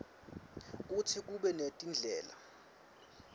kutsi kube netindlela